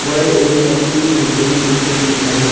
व एक मोठी बिल्डींग दिसुन येत आहे.